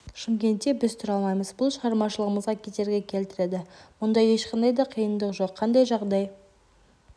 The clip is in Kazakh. шымкентте біз тұра алмаймыз бұл шығармашылығымызға кедергі келтіреді мұнда ешқандай да қиындық жоқ қандай жағдай